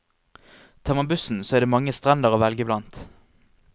Tar man bussen så er det mange strender å velge blant.